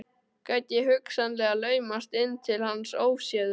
Gæti ég hugsanlega laumast inn til hans óséður?